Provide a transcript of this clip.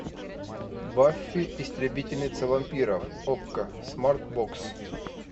баффи истребительница вампиров окко смарт бокс